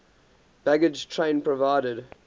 baggage train provided